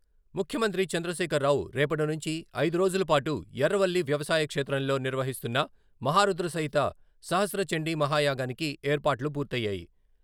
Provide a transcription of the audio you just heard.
ముఖ్యమంత్రి చంద్రశేఖర్రావు రేపటి నుంచి ఐదు రోజుల పాటు ఎర్రవల్లి వ్యవసాయ క్షేత్రంలో నిర్వహిస్తున్న మహారుద్ర సహిత సహస్ర చండీ మహాయాగానికి ఏర్పాట్లు పూర్తయ్యాయి.